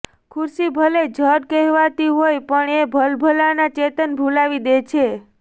ખુરશી ભલે જડ કહેવાતી હોય પણ એ ભલભલાનાં ચેતન ભુલાવી દે છે